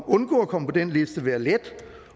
undgå at komme på den liste være let